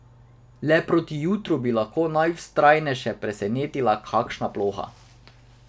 Le proti jutru bi lahko najvztrajnejše presenetila kakšna ploha.